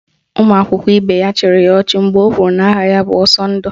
Ụmụ akwụkwọ ibe ya chịrị ya ọchị mgbe o kwuru na aha ya bụ Ọsọndụ